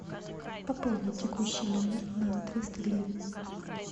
пополнить текущий номер на триста гривен